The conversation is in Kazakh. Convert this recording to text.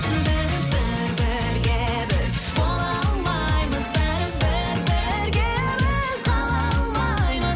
бәрібір бірге біз бола алмаймыз бәрібір бірге біз қала алмаймыз